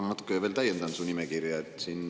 Ma natuke veel täiendan su nimekirja.